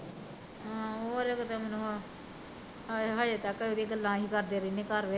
ਹਾਂ ਓਹ ਤਾਂ ਕਿਤੇ ਮੈਨੂ, ਹਜੇ ਤਕ ਅਸੀਂ ਉਹਦੀਆਂ ਗਲਾਂ ਕਰਦੇ ਰਹਿੰਦੇ ਘਰ ਵਿੱਚ